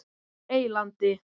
Eylandi